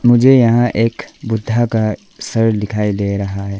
मुझे यहां एक बुद्धा का सर दिखाई दे रहा है।